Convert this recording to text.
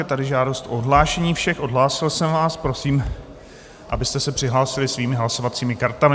Je tady žádost o odhlášení všech, odhlásil jsem vás, prosím, abyste se přihlásili svými hlasovacími kartami.